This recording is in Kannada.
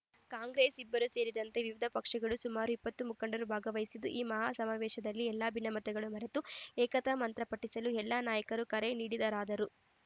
ಕಾಂಗ್ರೆಸ್‌ ಇಬ್ಬರು ಸೇರಿದಂತೆ ವಿವಿಧ ಪಕ್ಷಗಳ ಸುಮಾರು ಇಪ್ಪತ್ತು ಮುಖಂಡರು ಭಾಗವಹಿಸಿದ್ದ ಈ ಮಹಾ ಸಮಾವೇಶದಲ್ಲಿ ಎಲ್ಲ ಭಿನ್ನಮತಗಳನ್ನು ಮರೆತು ಏಕತಾ ಮಂತ್ರ ಪಠಿಸಲು ಎಲ್ಲ ನಾಯಕರು ಕರೆ ನೀಡಿದರಾದರೂ